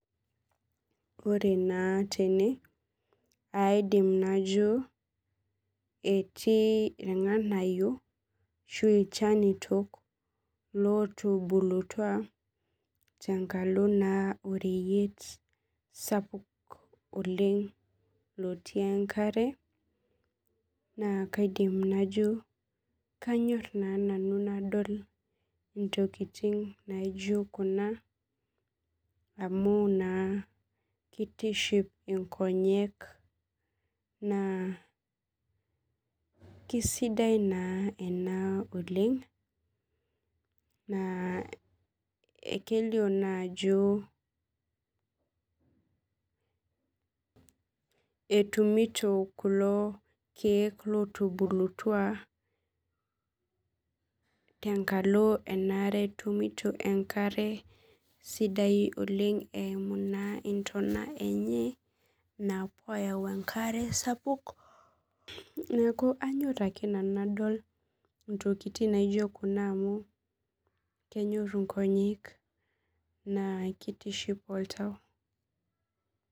Ore naa tene aidim najo etii irng'anayio ashuu ilchanitok lotubulutua tenkalo oreyit sapuk oleng otii enkare naa kaidim najo Kanyo nanu nadol intokitin naijio kuna amu naa keitiship inkonyek naa keisidai naa ena oleng naa kelio naa ajo etumito kulo lootubulutua tenkalo emaare etumito enkare eimu intona enye epuo aayau enkare sapuk neeku anyor ake nanu intokitin naaijio kuna amu kenyor inkonyek naa keitiship ooltau